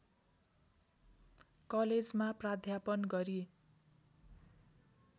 कलेजमा प्राध्यापन गरी